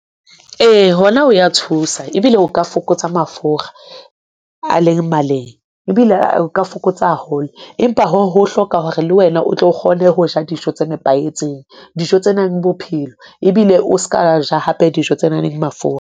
Ee, hona ho ya thusa ebile ho ka fokotsa mafura a leng maleng ebile o ka fokotsa haholo. Empa hoo ho hloka hore le wena o tlo kgone ho ja dijo tse nepahetseng, dijo tse nang bophelo ebile o ska ja hape dijo tse nang le mafura.